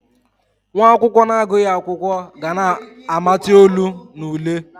Nwa akwụkwọ na-agụghị akwụkwọ, ga na-amati olu na ule.